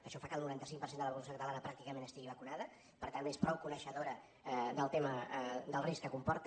això fa que el noranta cinc per cent de la població catalana pràcticament estigui vacunada per tant és prou coneixedora del tema del risc que comporta